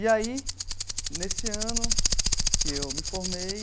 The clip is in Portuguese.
E aí, nesse ano que eu me formei,